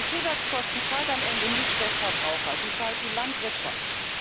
Die Zusatzkosten zahlt am Ende nicht der Verbraucher, die zahlt die Landwirtschaft.